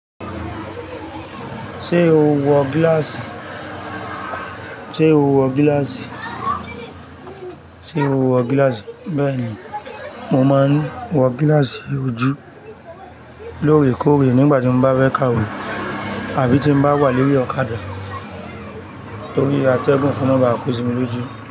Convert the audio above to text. Ṣé o wọ gíláàsì? Sé o wọ gíláàsì? Sé o wọ gíláàsì? Bẹ́ẹ̀ni, mo máa ń wọ gíláàsì ojú lóòrèkóòrè nígbà tí mo bá fẹ́ ka ìwé àbí tí mo bá wà lórí ọ̀kadà torí atẹ́gùn ko ma bá kósimi lójú.